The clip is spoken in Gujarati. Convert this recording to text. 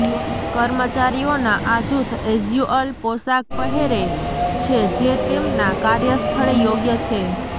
કર્મચારીઓના આ જૂથ કેઝ્યુઅલ પોશાક પહેરે છે જે તેમના કાર્યસ્થળે યોગ્ય છે